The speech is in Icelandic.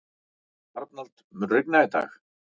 Arnald, mun rigna í dag?